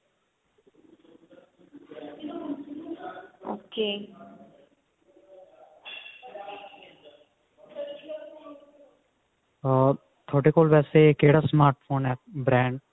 ਅਮ ਥੋਡੇ ਕੋਲ ਵੇਸੇ ਕਿਹੜਾ smart phone ਹੈ brand